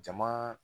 Jama